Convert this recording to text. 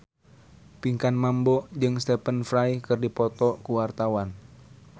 Pinkan Mambo jeung Stephen Fry keur dipoto ku wartawan